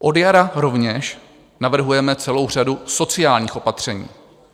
Od jara rovněž navrhujeme celou řadu sociálních opatření.